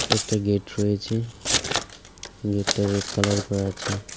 একটা গেট রয়েছে গেটটা রেড কালার করা আছে।